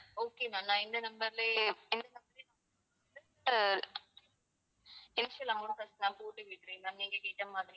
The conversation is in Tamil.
okay ma'am நான் இந்த number லயே இந்த number லயே வந்து அஹ் amount வந்து நான் போட்டு விடுறேன் ma'am நீங்கக் கேட்ட மாதிரி